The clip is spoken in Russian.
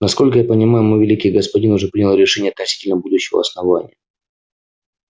насколько я понимаю мой великий господин уже принял решение относительно будущего основания